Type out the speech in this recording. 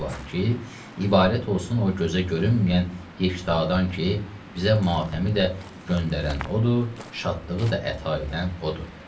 ibarət olsun o gözə görünməyən yekdadandan ki, bizə matəmi də göndərən odur, şadlığı da əta edən odur.